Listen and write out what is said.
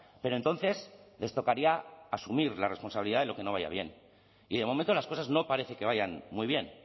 pero entonces les tocaría asumir la responsabilidad de lo que no vaya bien y de momento las cosas no parece que vayan muy bien